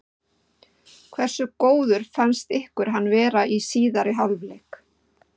Hversu góður fannst ykkur hann vera í síðari hálfleik?